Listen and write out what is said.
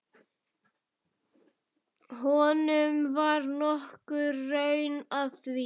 Honum var nokkur raun að því.